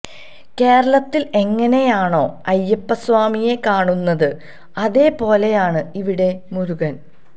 കേരളത്തില് എങ്ങനെയാണോ അയ്യപ്പസ്വാമിയെ കാണുന്നത് അതേ പോലെയാണ് ഇവിടെ മുരുകന്